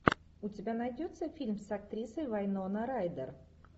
у тебя найдется фильм с актрисой вайнона райдер